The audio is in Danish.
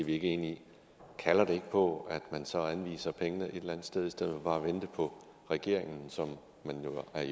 ikke enige i kalder det ikke på at man så anviser pengene et eller andet sted i stedet for bare at vente på regeringen som man jo er